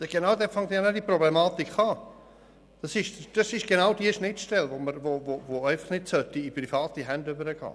Genau dort beginnt die Problematik, und genau diese Schnittstelle sollte nicht in private Hände übergehen.